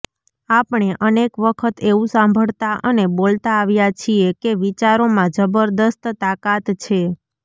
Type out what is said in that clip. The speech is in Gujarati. આપણે અનેક વખત એવું સાંભળતા અને બોલતા આવ્યા છીએ કે વિચારોમાં જબરજસ્ત તાકાત છે